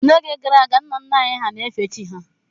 N'oge gara aga, nna nna anyị hà na-efe chi ha